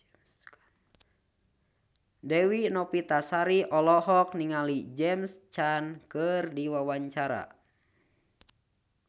Dewi Novitasari olohok ningali James Caan keur diwawancara